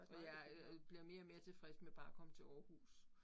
Og jeg øh bliver mere og mere tilfreds med bare at komme til Aarhus